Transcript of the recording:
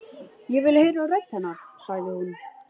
Ég vil heyra rödd hennar, sagði hún.